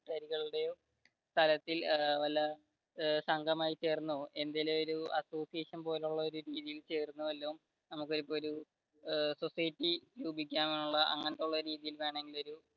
സ്ഥലത്തിൽ വല്ല സംഘമായി ചേർന്നോ എന്തെങ്കിലും ഒരു association പോലെയുള്ള ഒരു